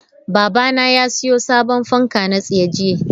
Babana ya siyo sabon fanka na tsaye jiya.